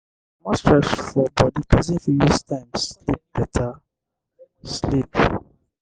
to comot stress for body person fit use time sleep better sleep